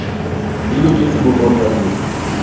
di loketse bomang ba dilemo